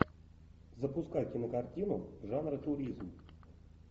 запускай кинокартину жанра туризм